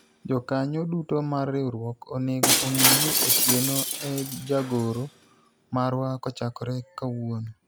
Jokanyo duto mar riwruok onego ong'e ni Otieno e jagoro marwa kochakore kawuono